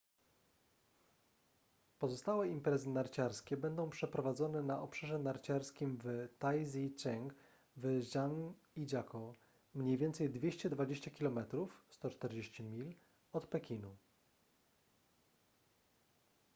pozostałe imprezy narciarskie będą przeprowadzone na obszarze narciarskim w taizicheng w zhangijakou mniej więcej 220 km 140 mil od pekinu